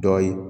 Dɔ ye